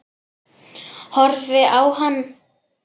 Horfi á hann.